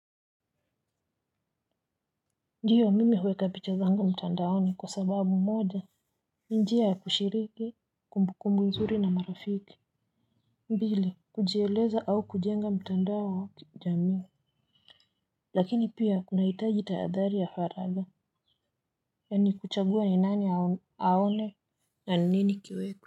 Ndio mimi huweka picha zangu mtandaoni kwa sababu mmoja, ni njia ya kushiriki, kumbu kumbu nzuri na marafiki, mbili kujieleza au kujenga mtandao wa kiujamii, lakini pia kuna hitaji taadhali ya faraga, yani kuchagua ni nani aone na nini kiwekwe.